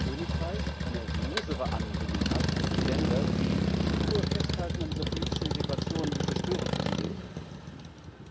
das Vereinigte Königreich eine losere Anbindung hat an die Länder, die stur festhalten an dieser politischen Integration, die so störend für Sie ist.